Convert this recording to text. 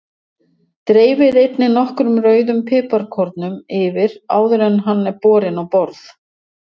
Dreifið einnig nokkrum rauðum piparkornum yfir áður en hann er borinn á borð.